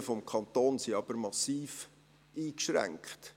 Die Möglichkeiten des Kantons sind aber massiv eingeschränkt.